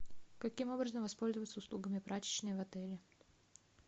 каким образом воспользоваться услугами прачечной в отеле